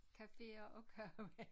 Caféer og kage